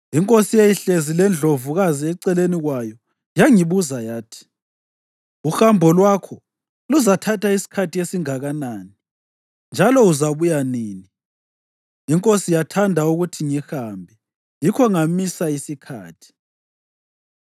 Inkosi eyayihlezi lendlovukazi eceleni kwayo yangibuza yathi, “Uhambo lwakho luzathatha isikhathi esingakanani, njalo uzabuya nini?” Inkosi yathanda ukuthi ngihambe; yikho ngamisa isikhathi.